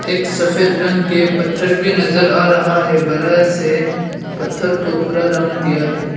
एक सफेद रंग के पत्थर भी नजर आ रहा है बड़ा से पत्थर को पूरा रंग दिया है।